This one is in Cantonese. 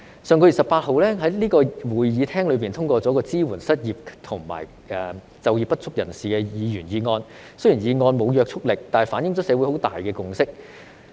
上月18日，在這個會議廳內通過了一項"支援失業及就業不足人士"的議員議案，雖然議案沒有約束力，但反映出社會有很大的共識。